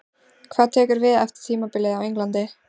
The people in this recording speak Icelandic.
Hvað tekur við eftir tímabilið á Englandi?